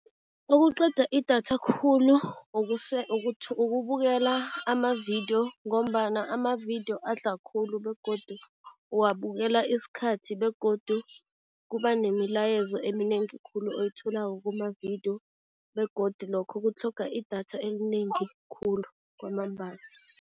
Okuqeda idatha khulu ukubukela ama-video ngombana ama-video adla khulu begodu uwabukela isikhathi begodu kuba nemilayezo eminengi khulu oyitholako kuma-video begodu lokho kutlhoga idatha elinengi khulu kwamambala.